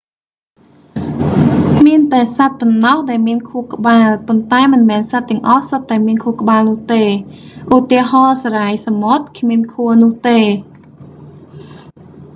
មានតែសត្វប៉ុណ្ណោះដែលមានខួរក្បាល ប៉ុន្តែ មិនមែនសត្វទាំងអស់សុទ្ធតែមានខួរក្បាលនោះទេ ឧទាហរណ៍ សារាយសមុទ្រគ្មានខួរនោះទេ